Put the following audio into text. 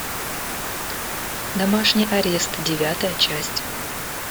домашний арест девятая часть